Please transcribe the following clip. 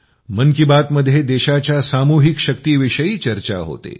मन की बात मध्ये देशाच्या सामूहिक शक्तीविषयी चर्चा होते